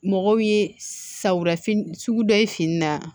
Mɔgɔw ye sawulafi sugu dɔ ye fini na